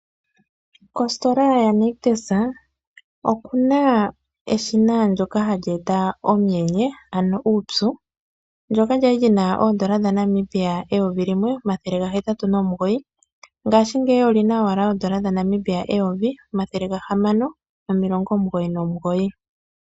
Kositola yaNictus oku na eshina ndyoka hali eta omuyenye, ano uupyu, ndyoka lya li li na oondola dhaNamibia eyovi limwe, omathele gahetatu nomugoyi. Ngashingeyi oli na owala oondola dhaNamibia eyovi limwe omathele gahamani nomilongo omugoyi nomugoyi.